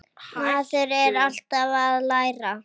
Maður er alltaf að læra.